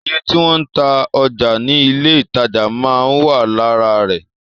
Iye tí wọ́n ń ta ọjà ní ilé ìtajà máa ń wà lára rẹ̀